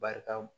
Barika